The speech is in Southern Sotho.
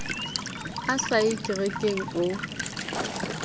a sa ye kerekeng o